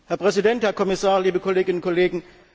Herr Präsident, Herr Kommissar, liebe Kolleginnen und Kollegen!